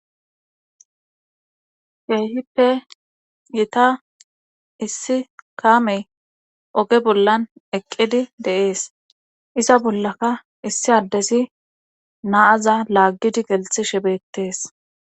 Keehippe gita issi kaame oge bollan eqqidi deees iza bollaka issi addesi naaza laaggidi gelxhi shibetees.